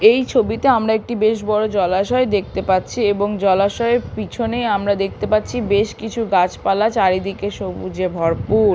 এই ছবিতে আমরা একটি বেশ বড় জলাশয় দেখতে পাচ্ছি এবং জলাশয়ের পিছনে আমরা দেখতে পাচ্ছি বেশকিছু গাছপালা চারিদিকে সবুজে ভরপুর।